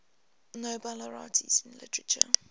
nobel laureates in literature